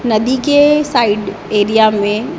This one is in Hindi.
नदी के साइड एरिया में--